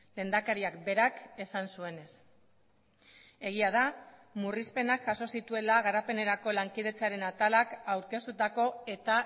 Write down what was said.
lehendakariak berak esan zuenez egia da murrizpenak jaso zituela garapenerako lankidetzaren atalak aurkeztutako eta